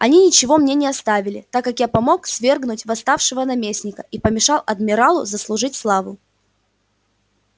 они ничего мне не оставили так как я помог свергнуть восставшего наместника и помешал адмиралу заслужить славу